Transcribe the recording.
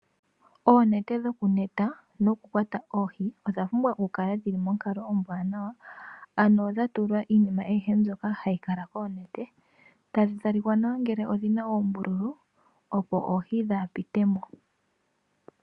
Oonete dho kuyula noku kwata oohi, odha pumbwa oku kala dhili monkalo ombwaanawa, ano dha tulwa iinima ayihe mbyoka hayi kala koonete, tadhi talika nawa ngele odhina oombululu, opo oohi dhaa pitemo.